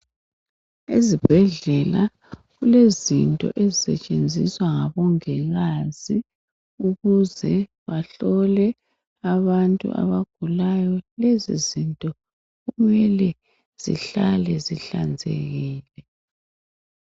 Ezibhedlela kulezinto ezisetshenziswa ngabongikazi ukuze bahlole abantu abagulayo. Lezo zinto kumele zihlale zihlanzekile.